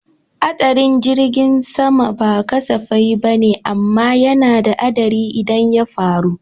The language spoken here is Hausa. Haɗarin jirgin sama ba kasafai bane amma yana da haɗari idan ya faru